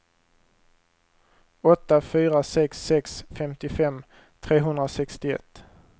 åtta fyra sex sex femtiofem trehundrasextioett